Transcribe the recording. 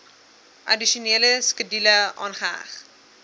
addisionele skedule aangeheg